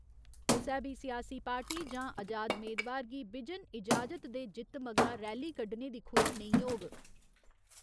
कुसै बी सियासी पार्टी जां अजाद मेदवार गी बिजन ईजाजत दे जित्त मगरा रैली कड्ढने दी खुल्ल नेईं होग।